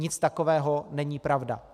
Nic takového není pravda.